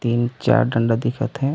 तीनचार डंडा दिखत हे।